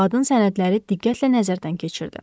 Qadın sənədləri diqqətlə nəzərdən keçirdi.